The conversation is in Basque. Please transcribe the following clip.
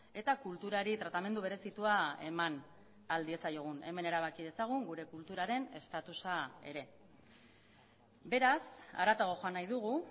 eta kulturari tratamendu berezitua eman ahal diezaiogun hemen erabaki dezagun gure kulturaren estatusa ere beraz haratago joan nahi dugu